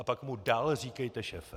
A pak mu dál říkejte šéfe.